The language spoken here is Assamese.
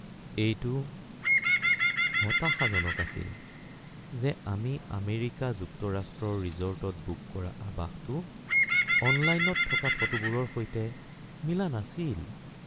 এইটো হতাশাজনক আছিল যে আমি আমেৰিকা যুক্তৰাষ্ট্ৰৰ ৰিজৰ্টত বুক কৰা আৱাসটো অনলাইনত থকা ফটোবোৰৰ সৈতে মিলা নাছিল।